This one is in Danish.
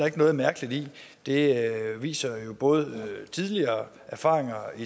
ikke noget mærkeligt i det viser erfaringer